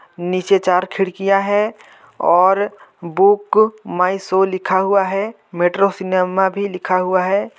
नीचे चार खिड़कियां है और बुक माई शो लिखा हुआ है मेट्रो सिनेमा भी लिखा हुआ हैं ।